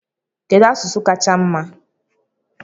Kedu asụsụ kacha di mma?